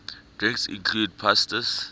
drinks include pastis